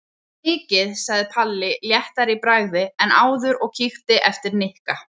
Það var mikið sagði Palli léttari í bragði en áður og kíkti eftir Nikka.